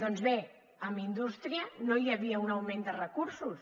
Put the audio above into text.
doncs bé a indústria no hi havia un augment de recursos